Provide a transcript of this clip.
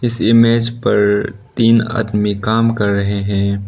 मेज पर तीन आदमी काम कर रहे हैं।